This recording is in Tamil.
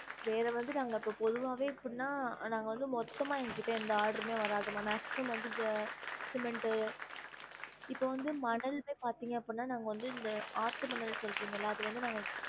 வேற வந்து நாங்க இப்ப பொதுவாவே இப்டின்னா நாங்க வந்து மொத்தமா எங்க கிட்ட எந்த order மே வராது மா maximum வந்து இந்த cement இப்ப வந்து மணலுமே பாத்திங்க அப்புட்னா நாங்க வந்து இந்த ஆத்து மணல் சொல்றிங்கல அது வந்து நாங்க